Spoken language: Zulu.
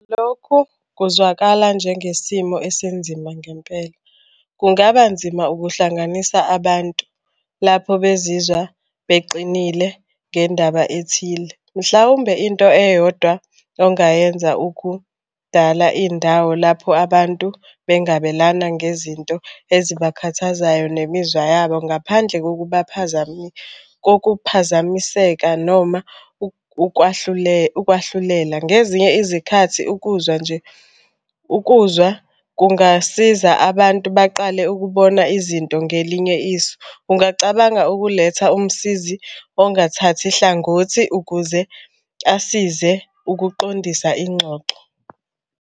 Lokhu kuzwakala njengesimo esinzima ngempela, kungaba nzima ukuhlanganisa abantu lapho bezizwa beqinile ngendaba ethile. Mhlawumbe into eyodwa ongayenza ukudala indawo lapho abantu bengabelana ngezinto ezibakhathazayo ngemizwa yabo ngaphandle kokuphazamiseka noma ukwahlulela. Ngezinye izikhathi ukuzwa nje ukuzwa kungasiza abantu baqale ukubona izinto ngelinye iso. Ungacabanga ukuletha umsizi ongathathi hlangothi ukuze asize ukuqondisa ingxoxo.